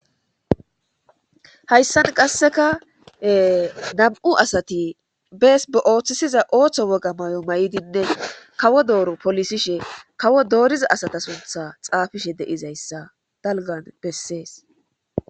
Hayssan qasseka nam'u asati bees ba'ooththisiza ooththo woga mayo may'dinne kawo dooru polisishe kawo dooriza asata suntha xaafishe deizayssa dalgan bessees.